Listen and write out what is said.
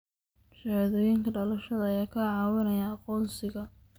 Shahaadooyinka dhalashada ayaa kaa caawinaya aqoonsiga.